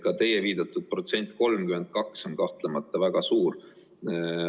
Ka teie viidatud protsent, 32, on kahtlemata väga suur.